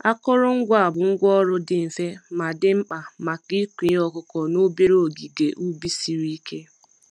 Akụrụngwa a bụ ngwá ọrụ dị mfe, ma dị mkpa maka ịkụ ihe ọkụkụ n'obere ogige ubi siri ike.